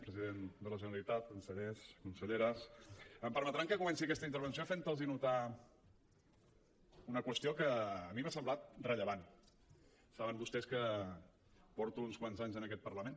president de la generalitat consellers conselleres em permetran que comenci aquesta intervenció fent los notar una qüestió que a mi m’ha semblat rellevant saben vostès que porto uns quants anys en aquest parlament